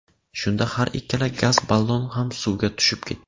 Shunda har ikkala gaz ballon ham suvga tushib ketdi.